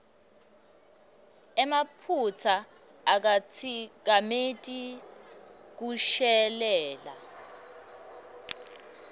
emaphutsa akatsikameti kushelela